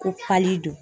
Ko pali don